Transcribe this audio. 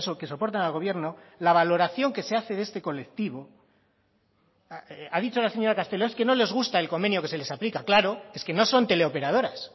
que soportan al gobierno la valoración que se hace de este colectivo ha dicho la señora castelo es que no les gusta el convenio que se les aplica claro es que no son teleoperadoras